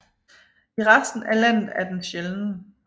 I resten af landet er den sjælden